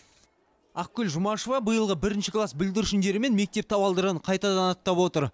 ақгүл жұмашева биылғы бірінші класс бүлдіршіндерімен мектеп табалдырығын қайтадан аттап отыр